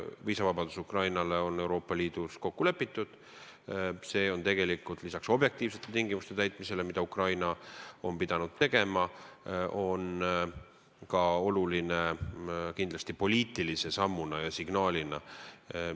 Viisavabadus Ukrainaga on Euroopa Liidus kokku lepitud ja see on objektiivsete tingimuste täitmise kõrval, mida Ukraina on pidanud tegema, kindlasti oluline ka poliitilise sammuna, poliitilise signaalina.